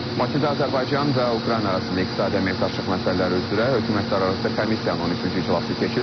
Bakıda Azərbaycan və Ukrayna arasında iqtisadi əməkdaşlıq məsələləri üzrə hökumətlərarası komissiyanın 13-cü iclası keçirilib.